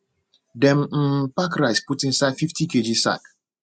dem um pack rice put inside fifty kg sack